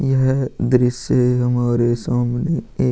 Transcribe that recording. यह दृश्य हमारे सामने एक --